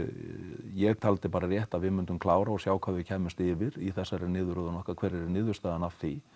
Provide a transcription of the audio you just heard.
ég taldi bara rétt að við myndum klára og sjá hvað við kæmumst yfir í þessari niðurröðun okkar hver yrði niðurstaðan af því